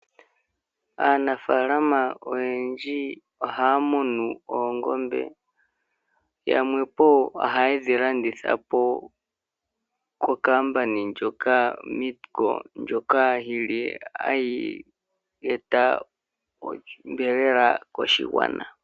Aanafaalama oyendji ohaya munu oongombe . Yamwe po ohaye dhi landithapo kongeshefa ndjoka hayi ithanwa Meatco , ndjoka yili hayi eta onyama koshigwana.